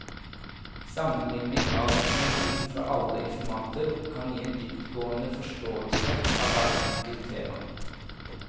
Sammenligning av informasjon fra alle informanter kan gi en dyptgående forståelse av hvert enkelt tema.